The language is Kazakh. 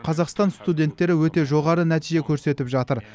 қазақстан студенттері өте жоғары нәтиже көрсетіп жатыр